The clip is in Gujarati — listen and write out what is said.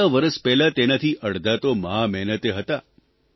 થોડા વરસ પહેલાં તેનાથી અડધા તો મહામહેનતે હતા